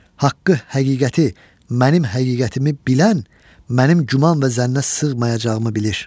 Haqqı, həqiqəti, mənim həqiqətimi bilən mənim güman və zənnə sığmayacağımı bilir.